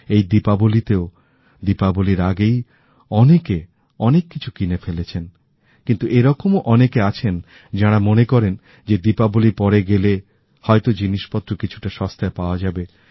এই দীপাবলিতেও দীপাবলির আগেই অনেকে অনেক কিছু কিনে ফেলেছেন কিন্তু এরকমও অনেকে আছেন যারা মনে করেন যে দীপাবলির পরে গেলে হয়ত জিনিসপত্র কিছুটা সস্তায় পাওয়া যাবে